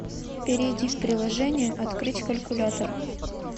перейди в приложение открыть калькулятор